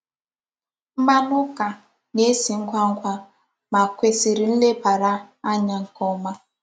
Mmanụ ụ́ka na-esi ngwa ngwa, ma kwesị̀rị̀ nlebàrà ànyà nke ọma.